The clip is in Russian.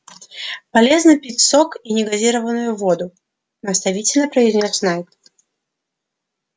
полезно пить сок и негазированную воду наставительно произнёс найд